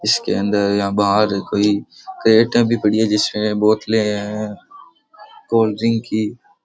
इसके अंदर या बाहर कोई क्रेटे भी पड़ी है जिसमे बोतले है कोल्ड्रिंग की।